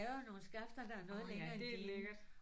Åh ja det er lækkert